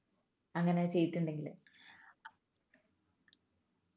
അങ്ങനെ ചെയ്തിട്ടുണ്ടെങ്കിൽ